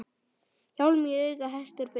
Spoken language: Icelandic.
Hjálm í auga hestur ber.